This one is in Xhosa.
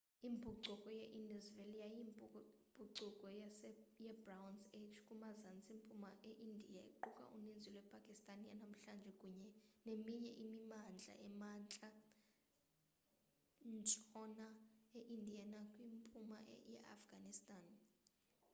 impucuko ye-indus valley yayiyimpucuko yebronze age kumazantsi mpuma eindiya equka uninzi lwepakistan yanamhlanje kunye neminye imimandla emantla ntshona eindiya nakwimpuma yeafghanistan